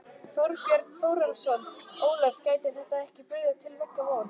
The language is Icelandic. Þorbjörn Þórðarson: Ólöf, gæti þetta ekki brugðið til beggja vona?